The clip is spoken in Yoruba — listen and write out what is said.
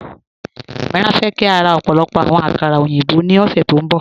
Amíírà fẹ́ kí a rá ọ̀pọ̀lọ̀pọ̀ àwọn àkàrà oyinbọ̀ ní ọ̀ṣẹ́ tó nbọ